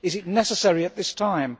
Is it necessary at this time?